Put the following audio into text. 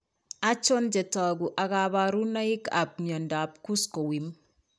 Achon chetogu ak kaborunoik ab miondab kuskowim